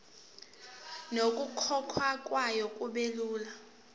nokukhokhwa kwayo kubelula